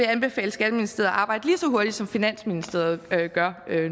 anbefale skatteministeriet at arbejde lige så hurtigt som finansministeriet gør